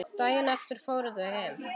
Daginn eftir fóru þau heim.